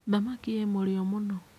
Thamaki ĩ mũrĩo mũno.